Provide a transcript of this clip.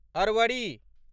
Arvari